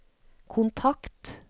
kontakt